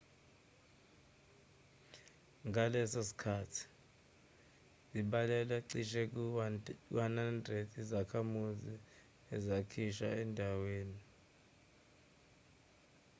ngaleso sikhathi zibalelwa cishe ku-100 izakhamuzi ezakhishwa endawe$ni